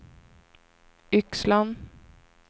Yxlan